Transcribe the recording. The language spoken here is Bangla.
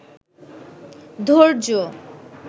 ধৈর্য